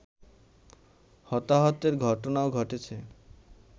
হতাহতের ঘটনাও ঘটেছে